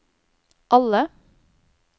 alle